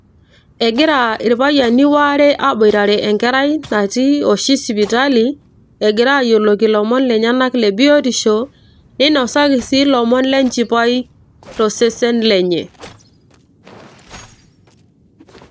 Egira irpayiani waare aboitare enkerai natii oshi sipitali egira ayioloki ilomon lenyena le biotisho ninosaki sii ilomon le nchipai tosesen lenye